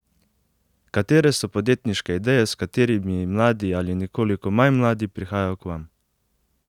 Katere so podjetniške ideje, s katerimi mladi ali nekoliko manj mladi prihajajo k vam?